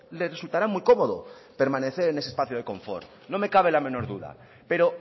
le resultará muy cómodo permanecer en ese espacio de confort no me cabe la menor duda pero